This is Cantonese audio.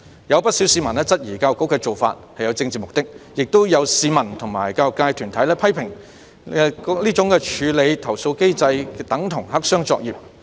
有不少市民質疑教育局的做法有政治目的，亦有市民和教育界團體批評該處理投訴機制等同黑箱作業。